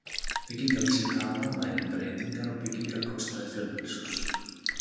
Byggingarvísitala mælir breytingar á byggingarkostnaði fjölbýlishúss.